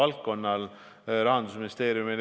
Lugupeetud peaminister!